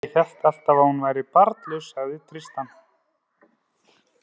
Ég hélt alltaf að hún væri barnlaus, sagði Tristan.